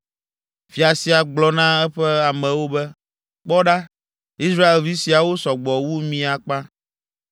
Fia sia gblɔ na eƒe amewo be, “Kpɔ ɖa, Israelvi siawo sɔ gbɔ wu mí akpa.